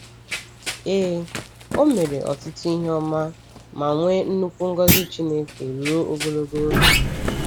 Ee, o mere ọtụtụ ihe ọma ma nwee nnukwu ngọzi Chineke ruo ogologo oge.